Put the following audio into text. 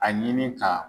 A ɲini ka